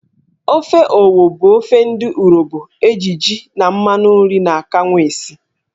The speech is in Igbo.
Ofe Owo bụ ofe ndị Urobo eji jí, mmanụ nri na akanwụ esi.